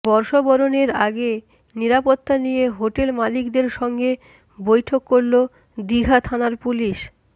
বর্ষবরণের আগে নিরাপত্তা নিয়ে হোটেল মালিকদের সঙ্গে বৈঠক করল দীঘা থানার পুলিশ